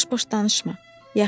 Boş-boş danışma.